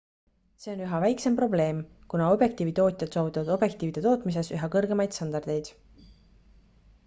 see on üha väiksem probleem kuna objektiivitootjad saavutavad objektiivide tootmises üha kõrgemaid standardeid